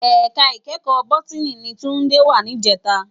Èká ikèékò bótìní ni Tunde wá nijètá